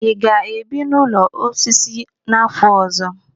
Ị ga-ebi n'ụlọ osisi n'afọ ọzọ?